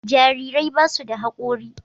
jarirai ba su da hakori